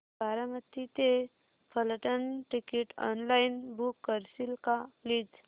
बारामती ते Phaltan ticket online book करशील का प्लीज